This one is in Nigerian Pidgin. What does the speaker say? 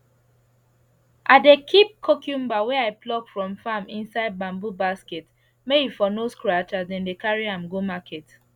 i dey keep cucumber wey i pluck from farm inside bamboo basket make e for no scratch as dem dey carry am go market